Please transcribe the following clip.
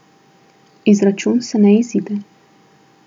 Izračun se ne izide.